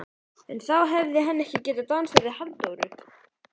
En þá hefði hann ekki getað dansað við Halldóru